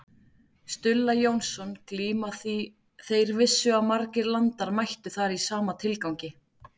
Stulla Jónsson glíma því þeir vissu að margir landar mættu þar í sama tilgangi.